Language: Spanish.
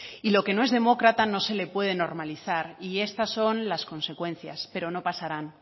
y lo que no es demócrata no se le puede normalizar y estas son las consecuencias pero no pasarán